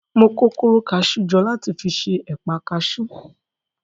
Mo kó kóró orí kaṣú jọ láti fi ṣe ẹ̀pa kaṣú.